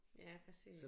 Ja præcis